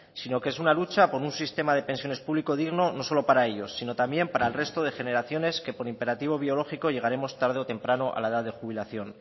sino que es una lucha por un sistema de pensiones público digno no solo para ellos sino también para el resto de generaciones que por imperativo biológico llegaremos tarde o temprano a la edad de jubilación